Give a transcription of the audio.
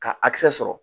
Ka a kisɛ sɔrɔ